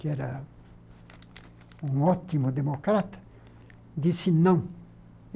que era um ótimo democrata, disse não.